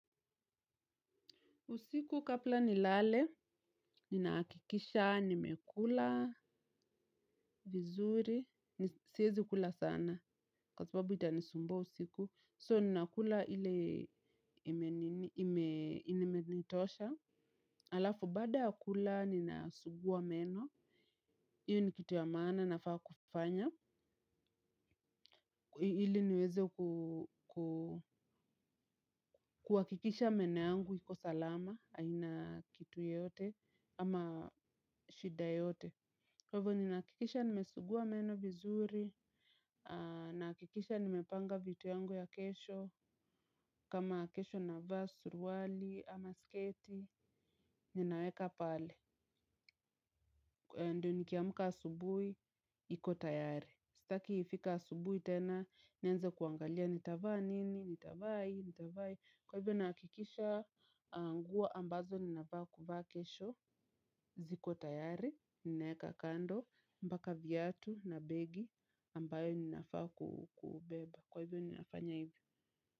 Usiku kabla nilale, ninahakikisha nimekula vizuri, siwezi kula sana. Kwa sababu itanisumbua usiku. So, ninakula ile imenitosha. Halafu, baada ya kula, ninasugua meno. Hiyo ni kitu ya maana nafaa kufanya. Ili niweze kuhakikisha meno yangu, iko salama, haina kitu yoyote, ama shida yoyote. Kwa hivyo ninahakikisha nimesugua meno vizuri, ninahakikisha nimepanga vitu yangu ya kesho, kama kesho navaa, suruali, ama sketi, ninaweka pale. Kwa hivyo ndio nikiamka asubuhi, niko tayari. Sitaki ifike asubuhi tena, nianze kuangalia nitavaa nini, nitavaa hii, nitavaa hii. Kwa hivyo ninahakikisha nguo ambazo ninafaa kuvaa kesho ziko tayari, ninaweka kando, mpaka viatu na begi ambayo ninafaa kubeba. Kwa hivyo ninafanya hivyo.